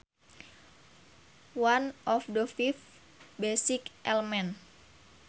One of the five basic elements